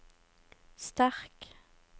sterk